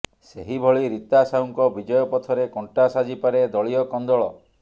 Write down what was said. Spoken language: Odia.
ସେହିଭଳି ରୀତା ସାହୁଙ୍କ ବିଜୟ ପଥରେ କଣ୍ଟା ସାଜି ପାରେ ଦଳୀୟ କନ୍ଦଳ